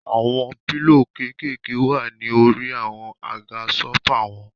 Àwọn pílò kékèèké wà ní orí àwọn àga sófà wọn.